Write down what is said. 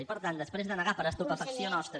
i per tant després de negar per a estupefacció nostra